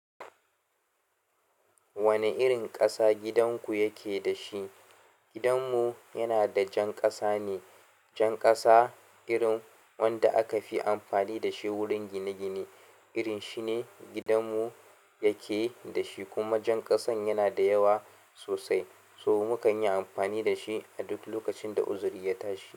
Wana irin kasa gidanku yake da shi? Gidanmu yana da jan ƙasa ne. Jan ƙasa irin wanda aka fi amfani da shi wurin gine-gine. Irin shi ne gidanmu yake da shi kuma jan ƙasan yana da yawa sosai so mukan yi amfani da shi a duk lokacin da uzuri ya tashi.